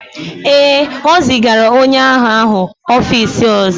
Ee, e zigara onye agha ahụ n'ọfịs ọzọ